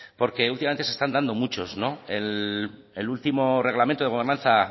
porque últimamente se están dando muchos el último reglamento de gobernanza